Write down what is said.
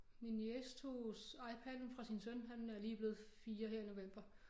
Min niece tog iPaden fra sin søn han er lige blevet 4 her i november